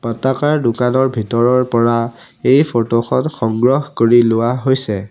পাতাকাৰ দোকানৰ ভিতৰৰ পৰা এই ফটোখন সংগ্ৰহ কৰি লোৱা হৈছে।